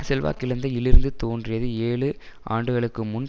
செல்வாக்கிழந்த இலிருந்து தோன்றியது ஏழு ஆண்டுகளுக்கு முன்